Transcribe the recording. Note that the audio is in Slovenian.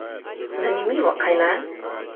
Zanimivo, kajne?